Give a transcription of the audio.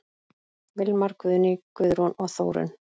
Vilmar, Guðný, Guðrún og Þórunn.